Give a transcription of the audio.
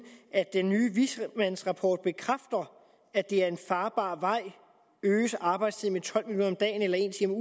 at den nye vismandsrapport bekræfter at det er en farbar vej øges arbejdstiden med tolv minutter om dagen eller en time